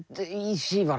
því var